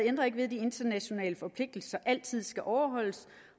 ændrer ved at de internationale forpligtelser altid skal overholdes